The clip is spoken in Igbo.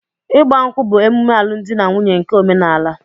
Ịgba nkwú bụ omume alụmdi na nwunye nke óménàlà.